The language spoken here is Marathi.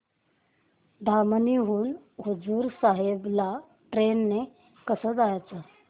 धामणी हून हुजूर साहेब ला ट्रेन ने कसं जायचं